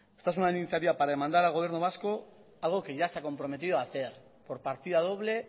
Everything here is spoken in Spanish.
esta es una iniciativa para demandar al gobierno vasco algo que ya se ha comprometido a hacer por partida doble